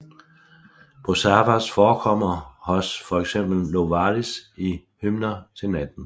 Prosavers forekommer hos for eksempel Novalis i Hymner til natten